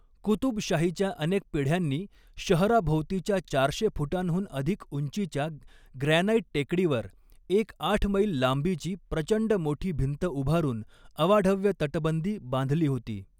कुतुबशाहीच्या अनेक पिढ्यांनी शहराभोवतीच्या चारशे फूटांहुन अधिक उंचीच्या ग्रॅनाइट टेकडीवर एक आठ मैल लांबीची प्रचंड मोठी भिंत उभारून अवाढव्य तटबंदी बांधली होती.